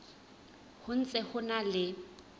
ho ntse ho na le